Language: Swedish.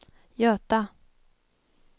Göta